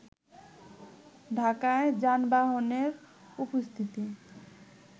ঢাকায় যানবাহণের উপস্থিতি